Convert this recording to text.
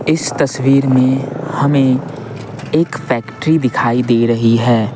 इस तस्वीर में हमें एक फैक्ट्री दिखाई दे रही है।